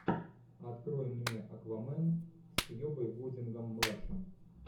открой мне аквамен с кьюбой гудингом младшим